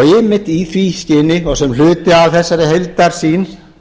einmitt í því skyni og sem hluti af þessari heildarsýn